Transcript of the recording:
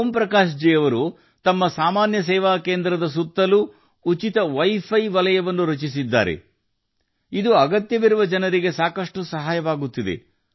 ಓಂ ಪ್ರಕಾಶ್ ಜೀ ಅವರು ತಮ್ಮ ಸಾಮಾನ್ಯ ಸೇವಾ ಕೇಂದ್ರದ ಸುತ್ತಲೂ ಉಚಿತ ವೈಫೈ ವಲಯವನ್ನು ನಿರ್ಮಿಸಿದ್ದಾರೆ ಇದು ಅಗತ್ಯವಿರುವ ಜನರಿಗೆ ಸಾಕಷ್ಟು ಸಹಾಯ ಮಾಡುತ್ತಿದೆ